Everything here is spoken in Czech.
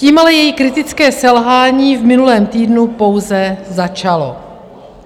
Tím ale její kritické selhání v minulém týdnu pouze začalo.